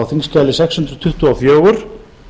þingskjali sex hundruð tuttugu og fjögur